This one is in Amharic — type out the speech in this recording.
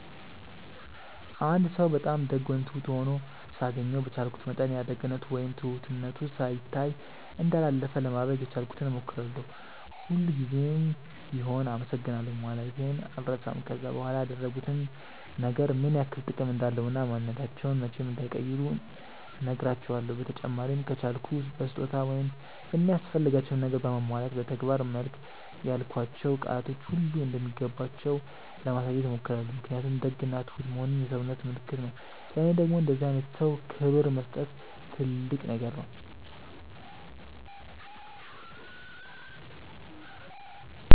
አንድ ሰው በጣም ደግ ወይም ትሁት ሆኖ ሳገኘው በቻልኩት መጠን ያ ደግነቱ ወይም ትሁትነቱ ሳይታይ እንዳላለፈ ለማድረግ የቻልኩትን ሞክራለው፤ ሁል ጉዘም ቢሆም አመሰግናለሁ ማለቴን አልረሳም፤ ከዛም በኋላ ያደረጉት ነገር ምን ያክል ጥቅም እንዳለው እና ማንንነታቸውን መቼም እንዳይቀይሩ ነህራቸውለው፤ በተጨማሪም ከቻልኩ በስጦታ ወይም የሚያስፈልጋቸውን ነገር በማሟላት በተግባር መልክ ያልኳቸው ቃላቶች ሁሉ እንደሚገባቸው ለማሳየት ሞክራለው ምክንያቱም ደግ እና ትሁት መሆን የሰውነት ምልክት ነው ለኔ ደግም ለእንደዚህ አይነት ሰው ክብር መስጠት ትልቅ ነገር ነው።